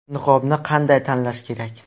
Niqobni qanday tanlash kerak?